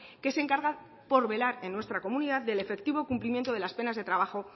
que se encarga por velar en nuestra comunidad del efectivo cumplimiento de las penas de trabajo